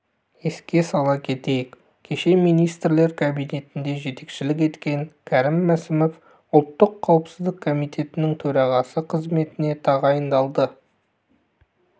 еске сала кетейік кеше министрлер кабинетіне жетекшілік еткен кәрім мәсімов ұлттық қауіпсіздік комитетінің төрағасы қызметіне тағайындалды